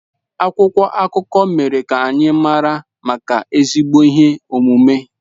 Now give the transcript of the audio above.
Akwụkwọ akụkọ mere ka anyị mara maka ezigbo ihe omume.